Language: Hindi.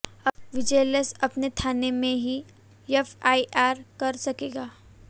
अब विजिलेंस अपने थाने में ही एफआईआर कर सकेगा